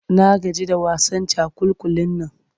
Na gaji da wasan cakulkulin nan.